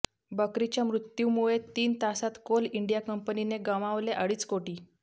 बकरीच्या मृत्यूमुळे तीन तासात कोल इंडिया कंपनीने गमावले अडीच कोटी